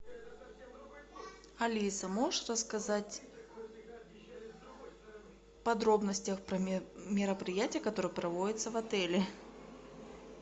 алиса можешь рассказать в подробностях про мероприятия которые проводятся в отеле